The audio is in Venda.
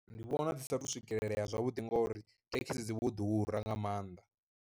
Ndi vhona dzi sa tou swikelelea zwavhuḓi ngori thekisi dzi vho ḓura nga maanḓa.